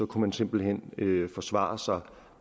kunne man simpelt hen forsvare sig